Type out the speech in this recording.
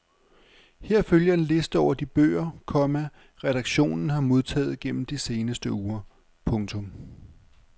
Her følger en liste over de bøger, komma redaktionen har modtaget gennem de seneste uger. punktum